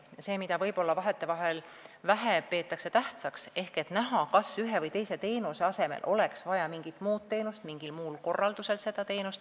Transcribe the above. Seda peetakse vahetevahel võib-olla vähetähtsaks, kuid siis on näha, kas ühe või teise teenuse asemel oleks vaja mingit muud teenust või seda teenust mingi muu korraldusega.